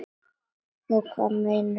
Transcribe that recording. Og hvað meira um hana?